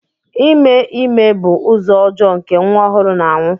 Ime ime bụ ụzọ ọjọọ nke nwa ọhụrụ na-anwụ.